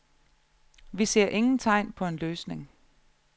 Vi ser ingen tegn på en løsning.